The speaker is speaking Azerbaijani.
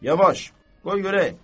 Yavaş, qoy görək.